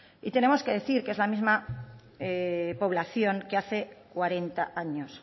y tenemos que decir que es la misma población que hace cuarenta años